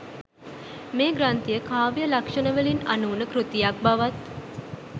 මේ ග්‍රන්ථය කාව්‍ය ලක්‍ෂණවලින් අනූන කෘතියක් බවත්